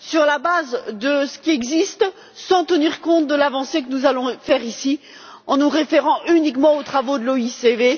sur la base de ce qui existe sans tenir compte de l'avancée que nous allons faire ici, en se référant uniquement aux travaux de l'OICV.